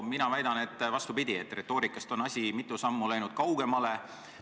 Mina väidan, et on vastupidi: retoorikast on asi läinud mitu sammu kaugemale.